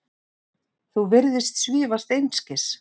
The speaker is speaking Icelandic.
Þú virðist svífast einskis.